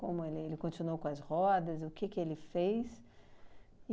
Como ele ele continuou com as rodas, o que que ele fez.